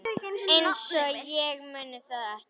Einsog ég muni það ekki!